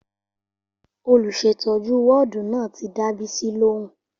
Olùsètọ́jú wọ́ọ̀dù náà ti dá Bisi lóhùn